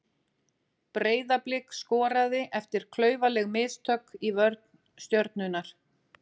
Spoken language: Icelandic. Breiðablik skoraði eftir klaufaleg mistök í vörn Stjörnunnar.